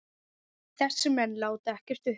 Þessir menn láti ekkert uppi.